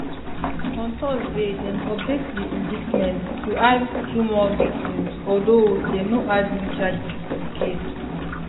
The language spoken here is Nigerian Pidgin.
on thursday dem update di indictment to add two more victims although dem no add new charges to di case